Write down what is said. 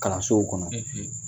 Kalansow kɔnɔ.